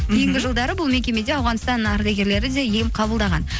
кейінгі жылдары бұл мекемеде ауғаныстан ардагерлері де ем қабылдаған